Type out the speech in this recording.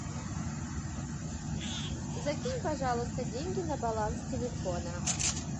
закинь пожалуйста деньги на баланс телефона